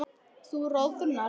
Þú roðnar.